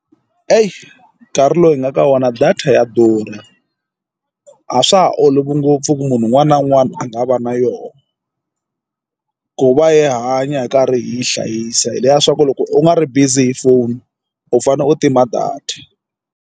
nkarhi lowu hi nga ka wona data ya durha a swa ha olovi ngopfu ku munhu un'wana na un'wana a nga va na yona ku va hi hanya hi karhi hi yi hlayisa hi leswiya swa ku loko u nga ri busy hi foni u fanele u tima data.